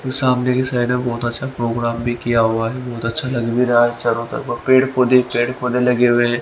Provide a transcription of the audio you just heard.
सामने की साइड में बहुत अच्छा प्रोग्राम भी किया हुआ है बहुत अच्छा लग भी रहा है तरफ पेड़ पौधे पेड़ पौधे लगे हुए हैं।